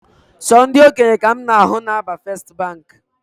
Sọ ndị okenye ka mụ na ahụ na aba first Baankị